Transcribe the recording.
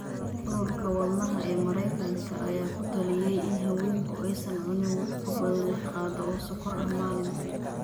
Ururka Wadnaha ee Mareykanka ayaa ku taliyay in haweenku aysan cunin wax ka badan lix qaado oo sonkor ah maalintii